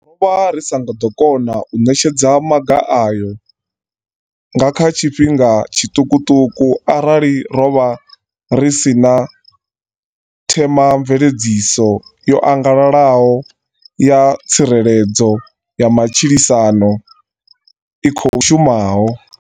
Ro vha ri sa nga ḓo kona u ṋetshedza maga ayo nga kha tshifhinga tshiṱukuṱuku arali ro vha ri si na themamveledziso yo angalalaho ya tsireledzo ya matshilisano i khou shumaho.